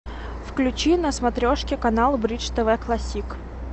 включи на смотрешке канал бридж тв классик